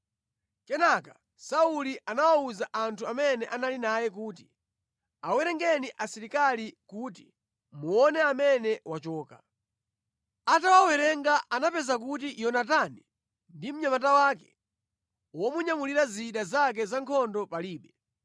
Kenaka Sauli anawawuza anthu amene anali naye kuti, “Awerengeni asilikali kuti muona amene wachoka.” Atawawerenga anapeza kuti Yonatani ndi mnyamata wake womunyamulira zida zake za nkhondo palibe.